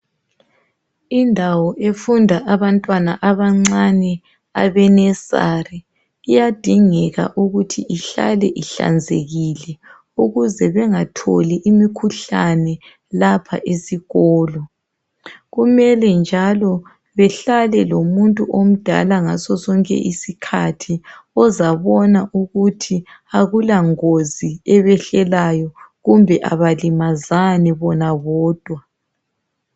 Indawo efunda abantwana abancane abe nursery iyadingeka ukuthi ihlale ihlanzekile ukuze bengatholi imikhuhlane lapha esikolo. Kumele njalo behlale lomuntu omdala ngasosonke isikhathi ozabona ukuthi akulangozi ebehlelayo kumbe abalimazani bona bodwa.